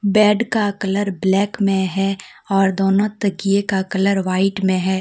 Bed का colour black में है और दोनों तकिया का कलर वाइट में है।